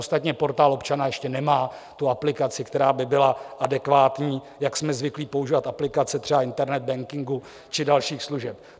Ostatně Portál občana ještě nemá tu aplikaci, která by byla adekvátní, jak jsme zvyklí používat aplikace třeba internet bankingu či dalších služeb.